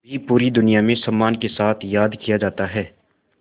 भी पूरी दुनिया में सम्मान के साथ याद किया जाता है